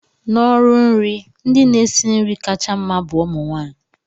n'ọrụ nri, ndị na-esi nri kacha mma bu umu nwanyị